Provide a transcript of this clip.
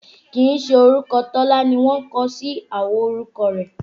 Kìí ṣe orúkọ Tọ́lá ni wọ́n kọsí àwo orúkọ rẹ̀